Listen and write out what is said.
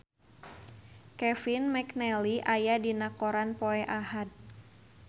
Kevin McNally aya dina koran poe Ahad